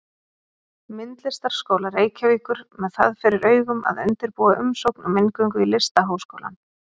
Myndlistarskóla Reykjavíkur með það fyrir augum að undirbúa umsókn um inngöngu í Listaháskólann.